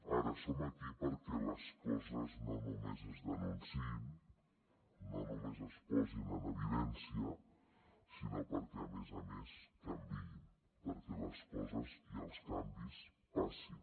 ara som aquí perquè les coses no només es denunciïn no només es posin en evidència sinó perquè a més a més canviïn perquè les coses i els canvis passin